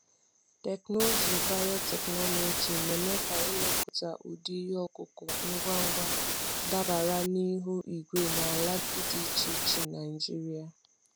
Teknụzụ biotechnology na-eme ka ịmụpụta ụdị ihe ọkụkụ ngwa ngwa dabara na ihu igwe na ala dị iche iche iche Naijiria.